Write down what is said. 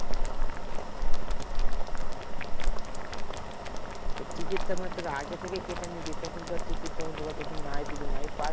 তো টিকিট টা মানে আগে থেকে কেটে নিবি তখন ধর টিকিট তখন যদি আবার নাই পাস্।